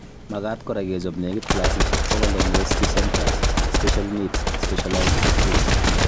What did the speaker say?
Makaat kora kechob nekit clasishek bokol eng rescue centres ,special needs ak specialized schools